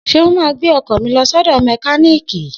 Seun ma gbẹ́ ọkọ̀ mi lọ sọ́dọ̀ mẹkíníìkì